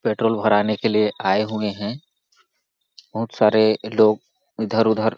petrol भराने के लिए आए हुए है बहुत सारे लोग इधर-उधर --